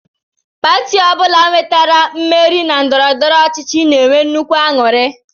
Pati ọ bụla nwetara mmeri na ndọrọndọrọ ọchịchị na-enwe nnukwu aṅụrị